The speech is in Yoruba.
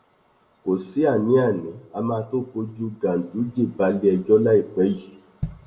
kò sí àníàní á máa tóó fojú ganduje balẹẹjọ láìpẹ yìí